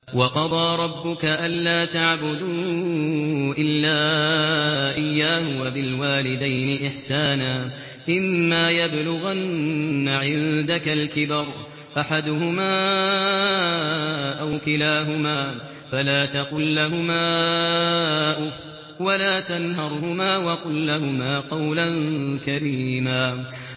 ۞ وَقَضَىٰ رَبُّكَ أَلَّا تَعْبُدُوا إِلَّا إِيَّاهُ وَبِالْوَالِدَيْنِ إِحْسَانًا ۚ إِمَّا يَبْلُغَنَّ عِندَكَ الْكِبَرَ أَحَدُهُمَا أَوْ كِلَاهُمَا فَلَا تَقُل لَّهُمَا أُفٍّ وَلَا تَنْهَرْهُمَا وَقُل لَّهُمَا قَوْلًا كَرِيمًا